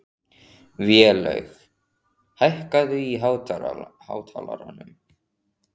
Vélaug, hækkaðu í hátalaranum.